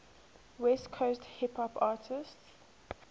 west coast hip hop artists